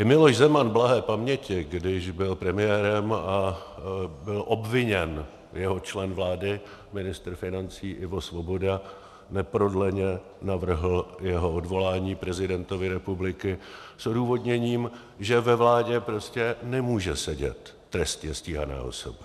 I Miloš Zeman blahé paměti, když byl premiérem a byl obviněn jeho člen vlády, ministr financí Ivo Svoboda, neprodleně navrhl jeho odvolání prezidentovi republiky s odůvodněním, že ve vládě prostě nemůže sedět trestně stíhaná osoba.